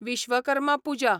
Vishwakarma Puja